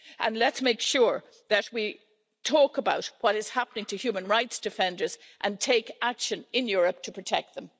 And let's make sure that we talk about what is happening to human rights defenders and take action in Europe to protect them.